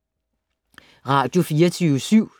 Radio24syv